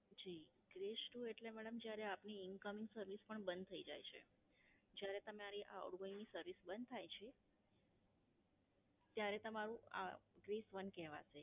જી, Bress two એટલે madam જ્યારે આપની Incoming પણ બંધ થાય જાય છે. જયારે તમારી Outgoing ની સર્વિસ બંધ થાય છે ત્યારે તમારું આ Bress one કહેવાશે.